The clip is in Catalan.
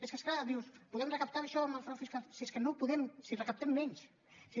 és que és clar dius podem recaptar això amb el frau fiscal si és que no podem si recaptem menys si